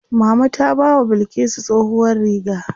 Mama ta bawa Bilkisu tsohuwar riga.